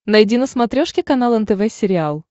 найди на смотрешке канал нтв сериал